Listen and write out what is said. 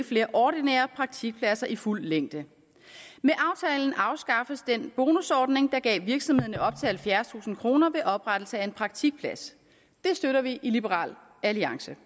flere ordinære praktikpladser i fuld længde med aftalen afskaffes den bonusordning der gav virksomhederne op til halvfjerdstusind kroner ved oprettelse af en praktikplads det støtter vi i liberal alliance